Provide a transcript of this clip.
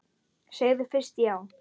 Segðu fyrst já!